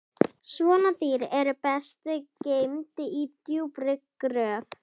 Svona dýr eru best geymd í djúpri gröf